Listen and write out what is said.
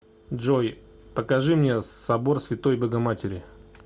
джой покажи мне собор святой богоматери